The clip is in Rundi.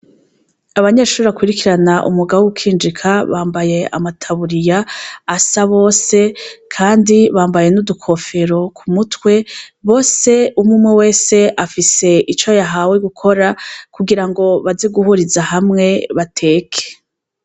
Abanyeshure bakurikirana umwuga wo gukinjika bambaye amataburiya asa bose kandi bambaye n'udukofero k'umutwe. Bose umwumwe wese afise ico yahawe gukora kugirango baze guhuriza hamwe bateke.